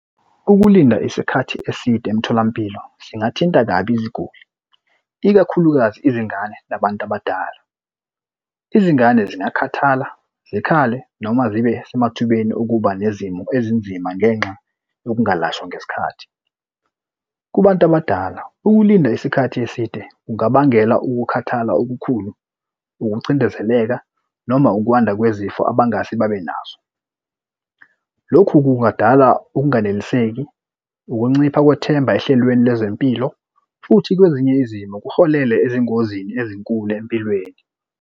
Ukulinda isikhathi eside emtholampilo singathinta kabi iziguli, ikakhulukazi izingane nabantu abadala. Izingane zingakhathala zikhale noma zibe semathubeni okuba nezimo ezinzima ngenxa yokungalashwa ngesikhathi. Kubantu abadala ukulinda isikhathi eside kungabangela ukukhathala okukhulu, ukucindezeleka noma ukwanda kwezifo abangase babenazo. Lokhu kungadala ukunganeliseki ukuncipha kwethemba ehlelweni lwezempilo, futhi kwezinye izimo kuholele ezingozini ezinkulu empilweni.